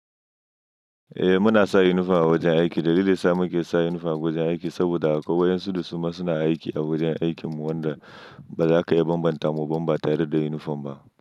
Eh muna sa yunifom a wajen aiki. Dalilin sa muke sa yunifom a wajen aiki saboda kawuyansu su kuma suna aiki a wajen aikin mu wanda ba za ka iya bambanta mu ba ba tare da yunifom ba.